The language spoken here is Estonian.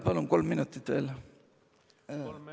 Palun kolm minutit veel!